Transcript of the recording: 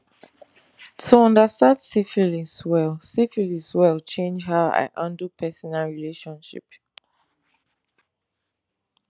to understand syphilis well syphilis well change how i handle personal relationship